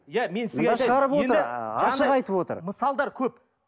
иә мен сізге айтайын ашық айтып отыр мысалдар көп